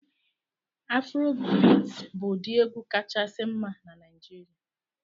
Afrobit bụ ụdị egwu kachasị mma na Naijiria